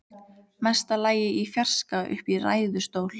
Mesta lagi í fjarska uppi í ræðustól.